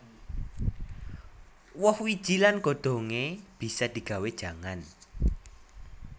Woh wiji lan godhongé bisa digawé jangan